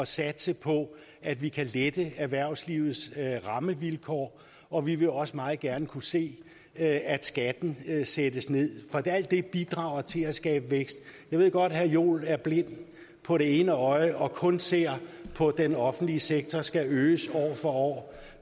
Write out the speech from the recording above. satse på at vi kan lette erhvervslivets rammevilkår og vi vil også meget gerne kunne se at at skatten sættes ned for alt det bidrager til at skabe vækst jeg ved godt herre jens joel er blind på det ene øje og kun ser på at den offentlige sektor skal øges år for år